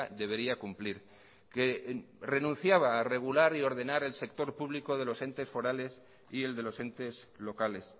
debería cumplir que renunciaba a regular y ordenar el sector público de los entes forales y el de los entes locales